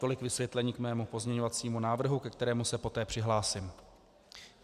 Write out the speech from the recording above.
Tolik vysvětlení k mému pozměňovacímu návrhu, ke kterému se poté přihlásím.